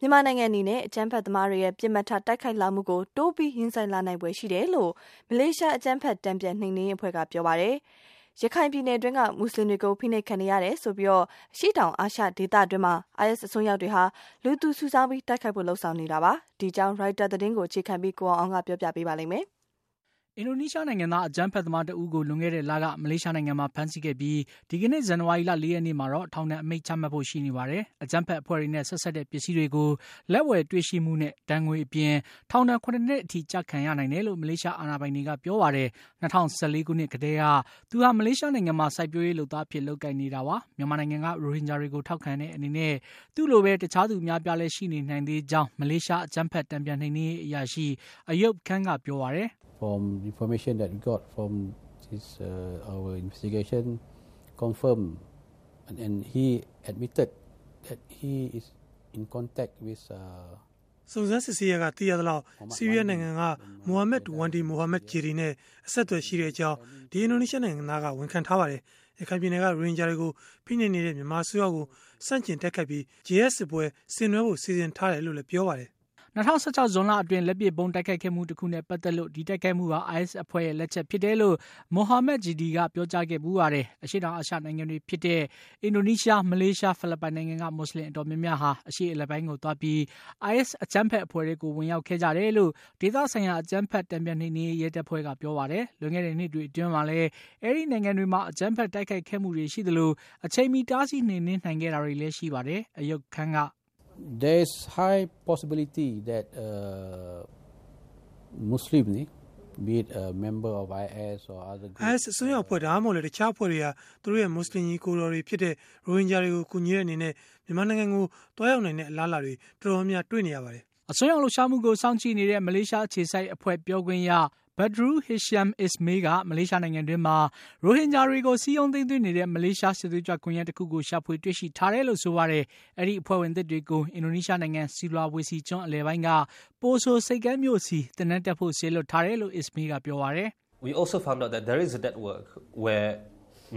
မြန်မာနိုင်ငံအနေနဲ့ အကြမ်းဖက်သမားတွေရဲ့ ပစ်မှတ်ထား တိုက်ခိုက်လာမှုကို တိုးပြီး ရင်ဆိုင်လာနိုင်ဖွယ်ရှိတယ်လို့ မလေးရှား အကြမ်းဖက် တန်ပြန်နှိမ်နင်းရေး အဖွဲ့က ပြောလိုက်ပါတယ်။ ရခိုင်ပြည်နယ်အတွင်းက မူစလင်တွေအပေါ် ဖိနှိပ်မှုတွေရှိနေတယ်ဆိုပြီး အရှေ့တောင်အာရှဒေသတွင်းမှာ IS အစွန်းရောက်တွေဟာ လူသူစုဆောင်းပြီး တိုက်ခိုက်ဖို့ လုပ်ဆောင်နေတာပါ။ ဒီအကြောင်း ရိုက်တာ သတင်းကို အခြေခံပြီး ကိုအောင်အောင်က ပြောပြပေးမှာပါ။ အင်ဒိုနီးရှားနိုင်ငံသား အကြမ်းဖက်သမားတဦးကို လွန်ခဲ့တဲ့လက မလေးရှားနိုင်ငံမှာ ဖမ်းဆီးခဲ့ပြီး ဒီကနေ့ ဇန်ဝါရီလ ၄ ရက်နေ့မှာတော့ ထောင်ဒဏ် အမိန့်ချမှတ်ဖို့ ရှိနေပါတယ်။ အကြမ်းဖက်အဖွဲ့တွေနဲ့ ဆက်စပ်တဲ့ ပစ္စည်းတွေကို လက်ဝယ်တွေ့ရှိမှုနဲ့ ဒဏ်ငွေအပြင် ထောင်ဒဏ် ၇ နှစ်ထိ ကျခံရနိုင်တယ်လို့ မလေးရှား အာဏာပိုင်တွေကပြောပါတယ်။ ၂၀၁၄ ခုနှစ်ကတည်းက သူဟာ မလေးရှားနိုင်ငံမှာ စိုက်ပျိုးရေးလုပ်သားအဖြစ် လုပ်ကိုင်နေတာပါ။ မြန်မာနိုင်ငံက ရိုဟင်ဂျာတွေကို ထောက်ခံတဲ့အနေနဲ့ သူ့လိုဘဲ တခြားသူ အများအပြားလည်း ရှိနေနိုင်သေးကြောင်း မလေးရှား အကြမ်းဖက်တန်ပြန်နှိမ်နင်းရေး အရာရှိ Ayob Khan က ပြောပါတယ်။ “စုံစမ်းစစ်ဆေးရာကနေ သိရသလောက် ဆီးရီးယားနိုင်ငံက Muhammad Wanndy Muhammad Jedi နဲ့ အဆက်အသွယ်ရှိကြောင်း အဲဒီအင်ဒိုနီးရှားနိုင်ငံသားက ဝန်ခံပါတယ်။ ရခိုင်ပြည်နယ်က ရိုဟင်ဂျာတွေကို ဖိနှိပ်နေတဲ့ မြန်မာအစိုးရကို ဆန့်ကျင်တိုက်ခိုက်သွားြ့ပီး ဂျီဟတ်စစ်ပွဲဆင်နွှဲဖို့ စီစဉ်ထားတယ် လို့လည်း ပြောပါ တယ်။” ၂၀၁၆ ဇွန်လအတွင်း လက်ပစ်ဗုံးတိုက်ခိုက်ခဲ့မှုတခုနဲ့ ပါတ်သတ်လို့ ဒီတိုက်ခိုက်မှုဟာ IS အဖွဲ့ရဲ့ လက်ချက်ဖြစ်တယ်လို့ Muhammad Jedi က ပြောကြားခဲ့ဖူး ပါတယ်။ အရှေ့တောင်အာရှနိုင်ငံတွေဖြစ်တဲ့ အင်ဒိုနီးရှား၊ မလေးရှား၊ ဖိလစ်ပိုင်နိုင်ငံက မွတ်ဆလင် အတော်များများဟာ အရှေ့အလယ်ပိုင်းကို သွားပြီး IS အကြမ်းဖက် အဖွဲ့ထဲကို ဝင်ရောက်ခဲ့ကြတယ်လို့ ဒေသဆိုင်ရာ အကြမ်းဖက်တန်ပြန်နှိမ်နင်းရေး ရဲတပ်ဖွဲ့က ပြောပါတယ်။ လွန်ခဲ့တဲ့နှစ်တွေအတွင်းမှာလည်း အဲဒီနိုင်ငံတွေမှာ အကြမ်းဖက်တိုက်ခိုက်ခဲ့မှုတွေရှိသလို အချိန်မီ တားဆီးနှိမ်နင်းနိုင်ခဲ့တာတွေလည်း ရှိပါတယ်။ Ayob Khan က “IS အစွန်းရောက်အဖွဲ့ ဒါမှမဟုတ် တခြားအဖွဲ့တွေဟာ သူတို့ရဲ့ မူစလင် ညီအကိုတွေဖြစ်တဲ့ ရိုဟင်ဂျာတွေကို ကူညီတဲ့အနေနဲ့ မြန်မာနိုင်ငံကို သွားရောက်နိုင်တဲ့ အလားအလာ တော်တေ်ာများများ တွေ့နေရပါတယ်။” အစွန်းရောက်လှုပ်ရှားမှုကို စောင့်ကြည့်နေတဲ့ မလေးရှားအခြေစိုက်အဖွဲ့ ပြောခွင့်ရ Badrul Hisham Ismail က မလေးရှားနိုင်ငံတွင်းမှာ ရိုဟင်ဂျာတွေကို စည်းရုံးသိမ်းသွင်းနေတဲ့ မလေးရှား စစ်သွေးကြွကွန်ယက်တခုကို ရှာဖွေတွေ့ရှိထားတယ်လို့ ဆိုပါတယ်။ အဲဒီအဖွဲ့ဝင်သစ်တွေကို အင်ဒိုနီးရှားနိုင်ငံ ဆူလာဝေစီကျွန်း အလယ်ပိုင်းက Poso ဆိပ်ကမ်းမြို့စီ သင်တန်း တက်ဖို့ စေလွှတ်ထားတယ် လို့ Ismail က ပြောပါတယ်။ “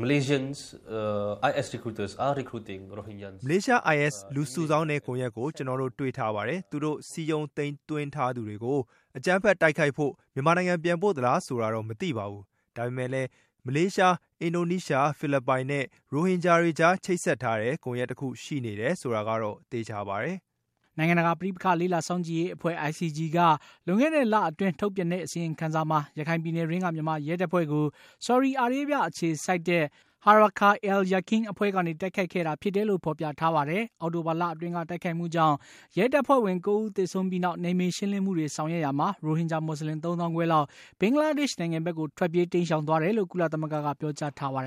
မလေးရှား IS လူစုဆောင်းတဲ့ကွန်ယက်ကို ကျနော်တို့တွေ့ထားပါတယ်။ သူတို့စည်းရုံးသိမ်းသွင်းထားသူတွေကို အကြမ်းဖက် တိုက်ခိုက်ဖို့ မြန်မာနိုင်ငံပြန်ပို့ သလားဆိုတာတော့ မသိပါဘူး။ ဒါပေမယ့်လည်း မလေးရှား၊ အင်ဒိုနီးရှား၊ ဖိလစ်ပိုင်နဲ့ ရိုဟင်ဂျာတွေကြား ချိတ်ဆက်ထားတဲ့ ကွန်ယက်တခု ရှိနေတယ်ဆိုတာကတော့ သေချာပါတယ်။” နိုင်ငံတကာပဋိပက္ခလေ့လာစောင့်ကြည့်ရေးအဖွဲ့ ICG က လွန်ခဲ့တဲ့လအတွင်း ထုတ်ပြန်တဲ့ အစီရင်ခံစာမှာ ရခိုင်ပြည်နယ်တွင်း က မြန်မာ ရဲတပ်ဖွဲ့ကို ဆော်ဒီအာရေးဗျ အခြေစိုက်တဲ့ Harakah al-Yaqin အဖွဲ့ ကနေ တိုက်ခိုက်ခဲ့တာဖြစ်တယ်လို့ ဖေါ်ပြထားပါတယ်။ အောက်တိုဘာလအတွင်းက တိုက်ခိုက်မှုကြောင့် ရဲတပ်ဖွဲ့ဝင် ၉ ဦးသေဆုံးပြီးနောက် နယ်မြေ ရှင်းလင်းမှုတွေ ဆောင်ရွက်ရာမှာ ရိုဟင်ဂျာမွတ်ဆလင် ၃ သောင်းခွဲလောက် ဘင်္ဂါလားဒေ့ရှ်နိုင်ငံဘက်ကို ထွက်ပြေးတိမ်းရှောင်သွားတယ်လို့ ကုလသမဂ္ဂက ပြောကြားထားပါတယ်